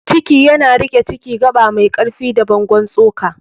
ciki yana riƙe Ciki: Gaba mai ƙarfi da bangon tsoka.